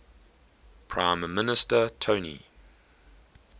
prime minister tony